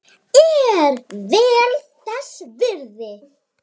Er vel þess virði.